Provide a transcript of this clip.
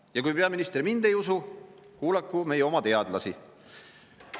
Ja kui peaminister mind ei usu, kuulaku meie oma teadlasi.